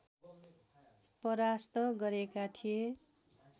परास्त गरेका थिए